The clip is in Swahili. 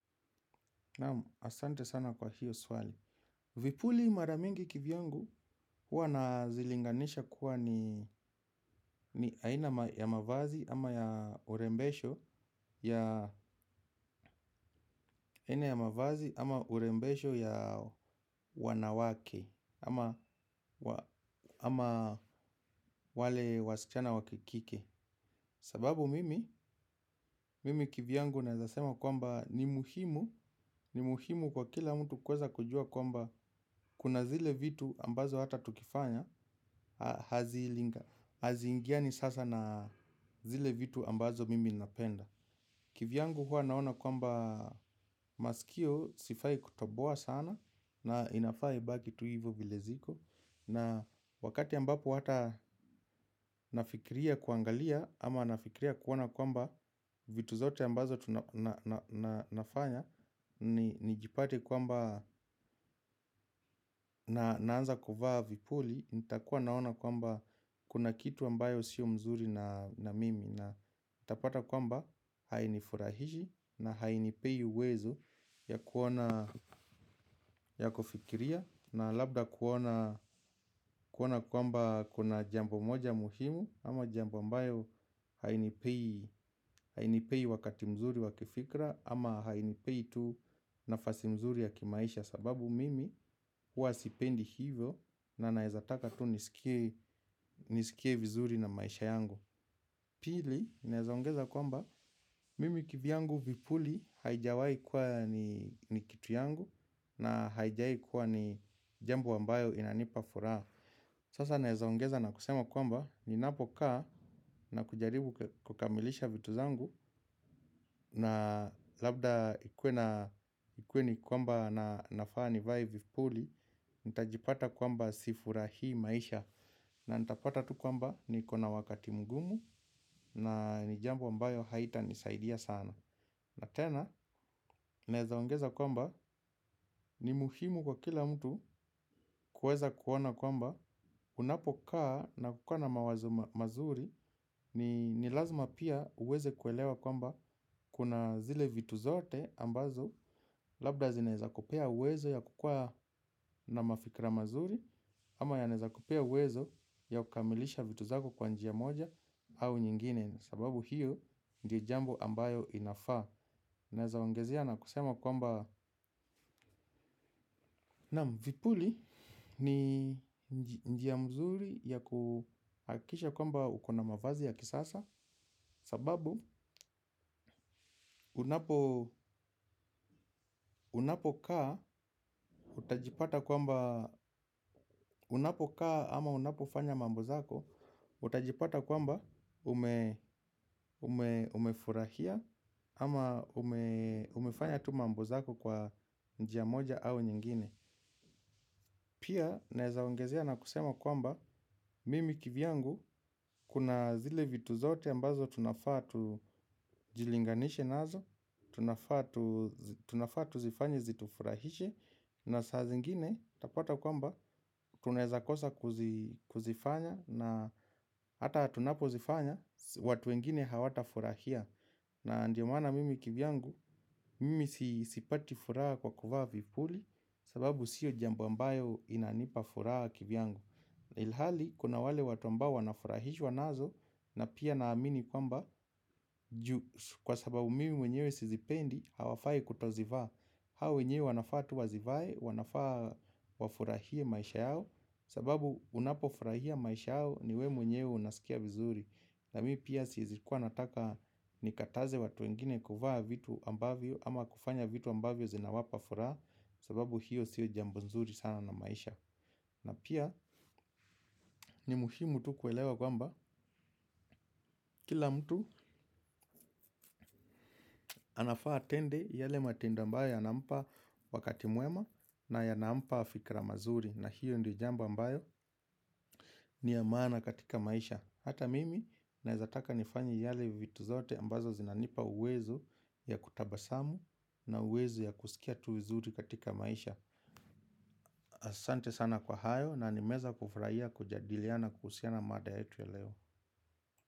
Asante sana kwa hilo swali. Vipuli mara mingi kivyangu huwa nazilinganisha kuwa ni aina ya mavazi ama ya urembesho. Ya aina ya mavazi ama urembesho ya wanawake ama wale wasichana wakike sababu mimi kivyangu naweza sema kwamba ni muhimu. Ni muhimu kwa kila mtu kuweza kujua kwamba kuna zile vitu ambazo hata tukifanya haziingiani sasa na zile vitu ambazo mimi napenda. Kivyangu huwa naona kwamba masikio sifai kutoboa sana. Na inafai baki tu hivyo vile ziko. Na wakati ambapo hata nafikiria kuangalia ama nafikiria kuona kwamba vitu zote ambazo nafanya nijipate kwamba naanza kuvaa vipuli. Itakuwa naona kwamba kuna kitu ambayo sio mzuri na mimi na nitapata kwamba hainifurahishi na hainipei uwezo ya kuona ya kufikiria na labda kuona kuona kwamba kuna jambo moja muhimu ama jambo ambayo hainipei hainipei wakati mzuri wa kifikira ama hainipei tu nafasi mzuri ya kimaisha sababu mimi huwa sipendi hivyo na naweza taka tu nisikie vizuri na maisha yangu. Pili, naweza ongeza kwamba, mimi kivyangu vipuli haijawai kuwa ni kitu yangu na haijawahi kuwa ni jambo ambayo inanipa furaha. Sasa naweza ongeza na kusema kwamba, ninapokaa na kujaribu kukamilisha vitu zangu na labda ikuwe ni kwamba na nafaa nivae vipuli, nitajipata kwamba si furahii maisha. Na nitapata tu kwamba niko na wakati mgumu. Na ni jambo ambayo haita nisaidia sana. Na tena, naweza ongeza kwamba ni muhimu kwa kila mtu kuweza kuona kwamba unapokaa na kukaa na mawazo mazuri. Ni lazima pia uweze kuelewa kwamba kuna zile vitu zote ambazo labda zinaweza kupea uwezo ya kukua na mafikira mazuri. Ama yanaweza kupea uwezo ya kukamilisha vitu zako kwa njia moja au nyingine. Sababu hiyo ndiyo jambo ambayo inafaa. Naweza ongezea na kusema kwamba naam vipuli ni njia mzuri ya kuhakikisha kwamba uko na mavazi ya kisasa. Sababu unapokaa ama unapofanya mambo zako. Utajipata kwamba umefurahia ama umefanya tuma mambo zako kwa njia moja au nyingine. Pia naweza ongezea na kusema kwamba mimi kivyangu kuna zile vitu zote ambazo tunafaa tujilinganishe nazo tunafaa tu ifanyi zitufurahishe na saa zingine utapata kwamba tunaweza kosa kuzifanya. Na hata tunapo zifanya, watu wengine hawatafurahia. Na ndiyo maana mimi kivyangu, mimi sipati furaha kwa kuvaa vipuli. Sababu sio jambo ambayo inanipa furaha kivyangu. Ilhali, kuna wale watu ambao wanafurahishwa nazo. Na pia naamini kwamba, kwa sababu mimi mwenyewe si zipendi, hawafai kutozivaa. Hao wenyewe wanafaa tu wazivae, wanafaa wafurahie maisha yao sababu unapofurahia maisha yako ni wewe mwenyewe unasikia vizuri na mimi pia siwezi kuwa nataka nikataze watu wengine kuvaa vitu ambavyo ama kufanya vitu ambavyo zinawapa furaha sababu hiyo sio jambo nzuri sana na maisha na pia ni muhimu tu kuelewa kwamba kila mtu anafaa atende yale matendo ambayo yanampa wakati mwema na yanampa fikira mazuri na hiyo ndiyo jambo ambayo ni ya maana katika maisha. Hata mimi naweza taka nifanye yale vitu zote ambazo zinanipa uwezo ya kutabasamu na uwezo ya kusikia tu vizuri katika maisha. Asante sana kwa hayo na nimeweza kufurahia kujadiliana kuhusiana mada yetu ya leo.